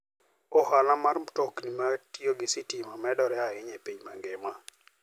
Ohala mar mtokni matiyo gi stima medore ahinya e piny mangima.